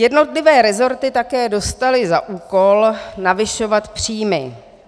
Jednotlivé rezorty také dostaly za úkol navyšovat příjmy.